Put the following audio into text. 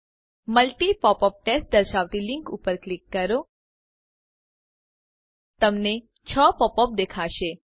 multi popup test દર્શાવતી link ઉપર click કરો તમને 6 પોપ અપ દેખાશે